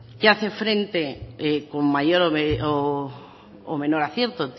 que hace frente con mayor o menor acierto